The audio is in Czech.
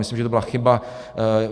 Myslím, že to byla chyba.